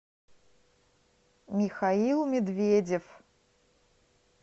михаил медведев